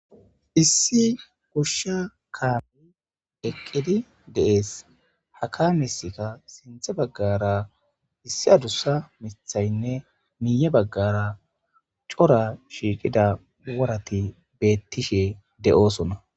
issi goshsha kaami deqqidi deees haka misika sinthe baggara issi adussa mithaynne miye baggara cora shiiqida warati beettishe de7oosona